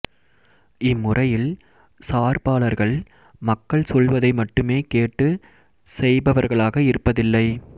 இம் முறையில் சார்பாளர்கள் மக்கள் சொல்வதை மட்டுமே கேட்டுச் செய்பவர்களாக இருப்பதில்லை